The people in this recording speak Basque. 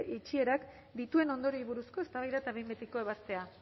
itxierak dituen ondorioei buruz eztabaida eta behin betiko ebazpena